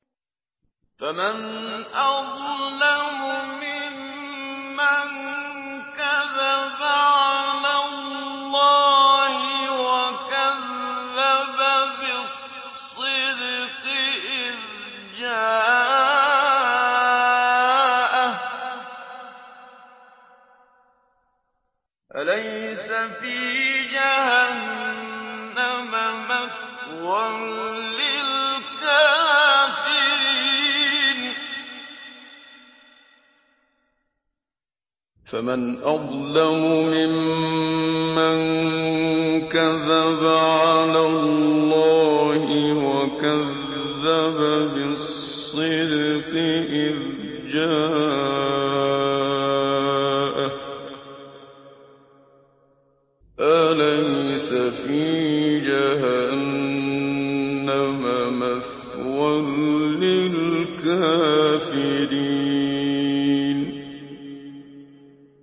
۞ فَمَنْ أَظْلَمُ مِمَّن كَذَبَ عَلَى اللَّهِ وَكَذَّبَ بِالصِّدْقِ إِذْ جَاءَهُ ۚ أَلَيْسَ فِي جَهَنَّمَ مَثْوًى لِّلْكَافِرِينَ